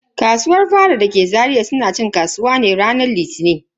Kasuwar faɗa dake Zaria suna cin kasuwa ne a ranar Litini.